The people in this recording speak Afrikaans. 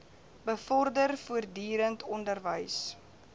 bevorder voortdurend onderwys